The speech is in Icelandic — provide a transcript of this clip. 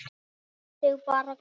Hún lét sig bara hverfa.